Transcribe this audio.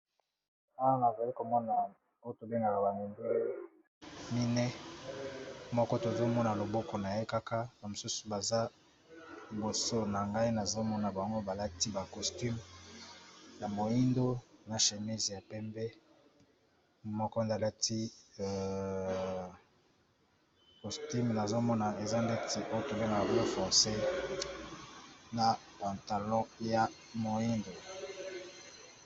wana na fali komona oy tolengaka bamine moko tozomona loboko na ye kaka bamosusu baza liboso na ngai nazomona bango balati bacostume ya moindo na shémise ya pembe moko zalati costume nazomona eza ndeti oyo tolingaka blo fonces na pantalo ya moindo